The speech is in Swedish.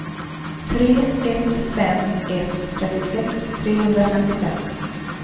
tre ett fem ett trettiosex trehundrafemtiofem